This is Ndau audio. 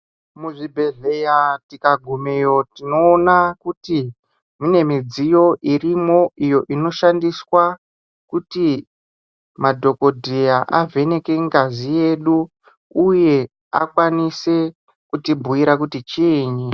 Muzvibhehleya tikagumeyo tinoona kuti mune midziyo irimwo iyo inoshandiswa kuti madhogodheya avheneke ngazi yedu uye akwanise kutibhuira kuti chiinyi.